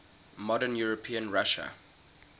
modern european russia